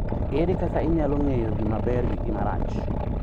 Ere kaka inyalo ng�eyo gima ber gi gima rach